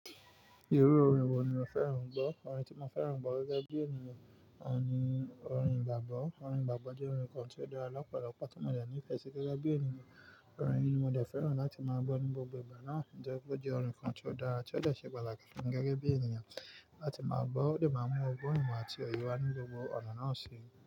Irú orin wo ni o fẹ́ràn gbọ́? Orin tí mo fẹ́ràn gbọ́ gẹ́gẹ́ bí ènìyàn, òun ni orin igbàgbọ́. Orin igbàgbọ́ jẹ́ orin kan tí ó dára lọ́pọ̀lọpọ̀ tó mọ̀ de ní ìfẹ́ sí gẹ́gẹ́ bí ènìyàn. Orin yìí ni mo dẹ fẹ́ràn láti máa gbọ́ ní gbogbo ìgbà náà, ó jẹ́ pé ó jẹ́ orin kan tí ó dára tí ó le ṣe pataki fun mi gẹ́gẹ́ bí ènìyàn láti máa gbọ́, ó lè máa mú ọgbọ́n imo àti òye wá ní gbogbo ọ̀nà náà sì.